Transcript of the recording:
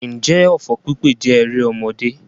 Ǹjẹ́ ọfọ̀ pípè jẹ́ erémọdé?